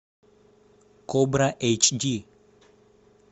кобра эйч ди